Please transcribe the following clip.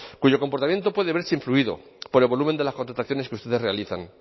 cuyo comportamiento puede verse influido por el volumen de las contrataciones que ustedes realizan